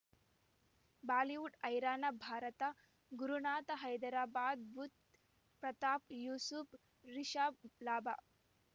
Bollywood ಹೈರಾಣ ಭಾರತ ಗುರುನಾಥ ಹೈದರಾಬಾದ್ ಬುಧ್ ಪ್ರತಾಪ್ ಯೂಸುಫ್ ರಿಷಬ್ ಲಾಭ